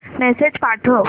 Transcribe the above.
message पाठव